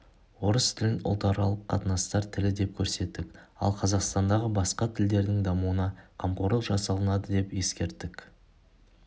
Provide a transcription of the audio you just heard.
орыс тілін ұлтаралық қатынастар тілі деп көрсеттік ал қазақстандағы басқа тілдердің дамуына қамқорлық жасалынады деп ескерттік